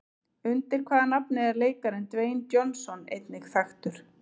Undir hvaða nafni er leikarinn Dwayne Johnson einnig þekktur?